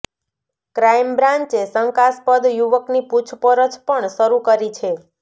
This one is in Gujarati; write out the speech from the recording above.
ક્રાઈમ બ્રાન્ચે શંકાસ્પદ યુવકની પૂછપરછ પણ શરૂ કરી છે